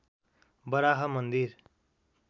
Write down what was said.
बराह मन्दिर